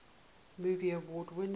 movie award winners